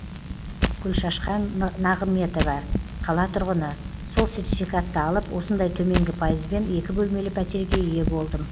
гүлшашқан нағыметова қала тұрғыны сол сертификатты алып осындай төменгі пайызбен екі бөлмелі пәтерге ие болдым